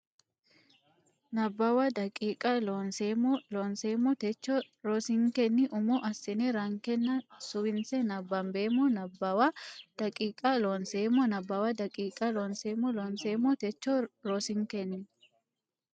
Nabbawa daqiiqa Loonseemmo Looseemmo Techo rosinkenni umo assine rankenna suwinse nabbambeemmo Nabbawa daqiiqa Loonseemmo Nabbawa daqiiqa Loonseemmo Looseemmo Techo rosinkenni.